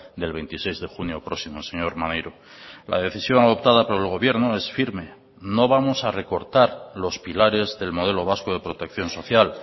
del veintiséis de junio próximo señor maneiro la decisión adoptada por el gobierno es firme no vamos a recortar los pilares del modelo vasco de protección social